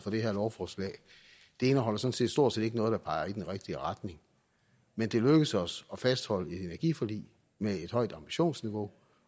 det her lovforslag det indeholder stort set stort set ikke noget der peger i den rigtige retning men det er lykkedes os at fastholde et energiforlig med et højt ambitionsniveau